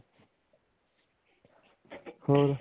ਹਮ